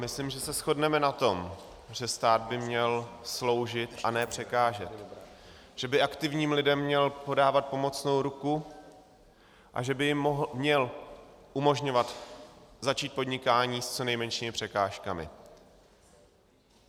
Myslím, že se shodneme na tom, že stát by měl sloužit a ne překážet, že by aktivním lidem měl podávat pomocnou ruku a že by jim měl umožňovat začít podnikání s co nejmenšími překážkami.